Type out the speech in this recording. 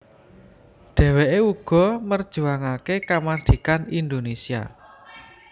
Dheweke uga merjuangake kamardhikan Indonésia